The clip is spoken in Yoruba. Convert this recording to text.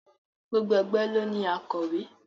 Gbogbo ẹgbẹ́ ló ní akọ̀wé.